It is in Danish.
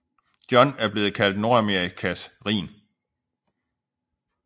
John er blevet kaldt Nordamerikas Rhin